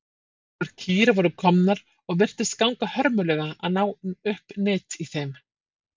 Nokkrar kýr voru komnar og virtist ganga hörmulega að ná upp nyt í þeim.